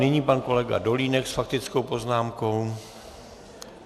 Nyní pan kolega Dolínek s faktickou poznámkou.